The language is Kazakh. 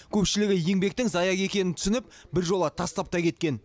көпшілігі еңбектің зая екенін түсініп біржола тастап та кеткен